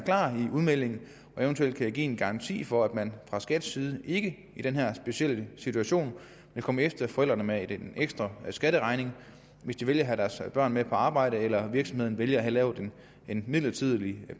udmelding og eventuelt give en garanti for at man fra skats side ikke i den her specielle situation vil komme efter forældrene med en ekstra skatteregning hvis de vælger at have deres børn med på arbejde eller virksomheden vælger at lave en midlertidig